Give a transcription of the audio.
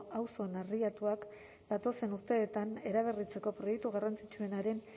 auzo narriatuak datozen urteetan eraberritzeko proiektu garrantzitsuenaren